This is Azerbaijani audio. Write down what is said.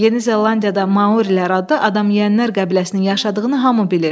Yeni Zelandiyada Maorilər adlı adam yeyənlər qəbiləsinin yaşadığını hamı bilir.